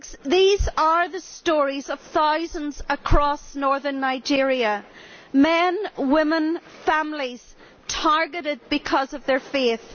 These are the stories of thousands across northern Nigeria men, women, families, targeted because of their faith.